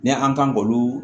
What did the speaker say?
Ni an kan k'olu